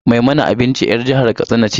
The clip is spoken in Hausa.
Mai mana abinci 'yar jihar katsina ce.